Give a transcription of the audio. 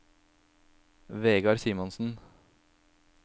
Vegard Simonsen